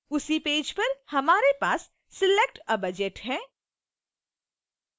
उसी पेज पर हमारे पास select a budget है